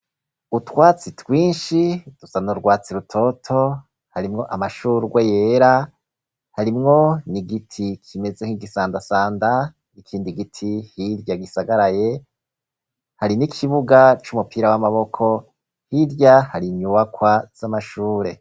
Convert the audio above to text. Utwatsi twinshi dusa n'urwatsi rutoto, harimwo amashurwe yera, harimwo n'igiti kimeze nk'igisandasanda, ikindi giti hirya gisagaraye, hari n'ikibuga c'umupira w'amaboko, hirya hari inyubakwa z'amashure.